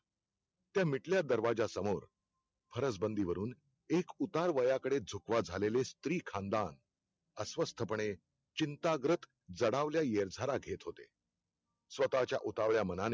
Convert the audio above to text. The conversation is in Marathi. त्या मिटल्या दरवाज्या समोर फरसबंदि वरुन एक उतार वयाकडे झुकवा झालेले स्त्रीखानदान अस्वस्थपणे चिंताग्रत जडावले येरझारा घेत होते स्वताच्या उतावळया मनाने